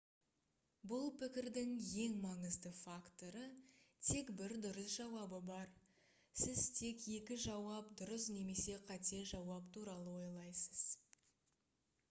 бұл пікірдің ең маңызды факторы тек бір дұрыс жауабы бар сіз тек екі жауап дұрыс немесе қате жауап туралы ойлайсыз